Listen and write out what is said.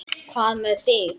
Hvað með þig.